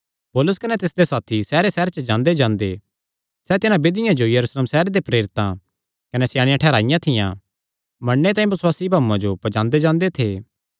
पौलुस कने तिसदे साथी सैहरेसैहरे च जांदेजांदे सैह़ तिन्हां विधियां जो यरूशलेम सैहरे दे प्रेरितां कने स्याणेयां ठैहराईयां थियां मन्नणे तांई बसुआसी भाऊआं जो पज्जांदे जांदे थे